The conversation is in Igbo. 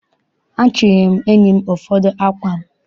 Achịnyere m enyi m ụfọdụ ákwà m.